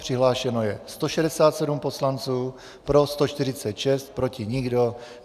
Přihlášeno je 167 poslanců, pro 146, proti nikdo.